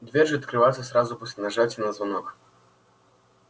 дверь же открывается сразу после нажатия на звонок